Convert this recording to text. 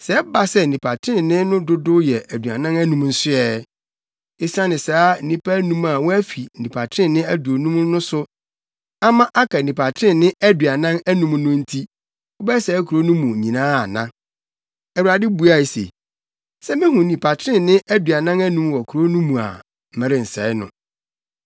sɛ ɛba sɛ nnipa trenee no dodow yɛ aduanan anum nso ɛ? Esiane saa nnipa anum a wɔafi nnipa trenee aduonum no so ama aka nnipa trenee aduanan anum no nti, wobɛsɛe kurow mu no nyinaa ana?” Onyankopɔn buae se, “Sɛ mihu nnipa trenee aduanan anum wɔ kurow no mu a, merensɛe no.”